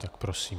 Tak prosím.